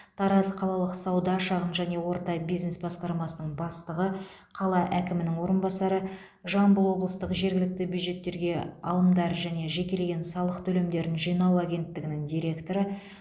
тараз қалалық сауда шағын және орта бизнес басқармасының бастығы қала әкімінің орынбасары жамбыл облыстық жергілікті бюджеттерге алымдар және жекелеген салық төлемдерін жинау агенттігінің директоры